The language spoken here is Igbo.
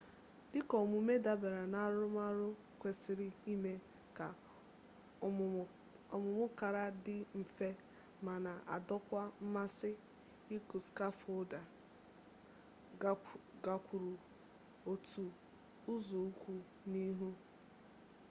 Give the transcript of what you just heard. dịka ọmụmụ dabere n'arụmarụ kwesịrị ime ka ọmụmụ kara dị mfe ma na-adọkwu mmasị ịkụ skafoldu gakwuru otu ụzọụkwụ n'ihu